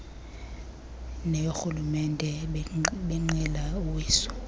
neyoorhulumente benqila uwiso